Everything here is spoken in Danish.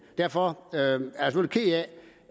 derfor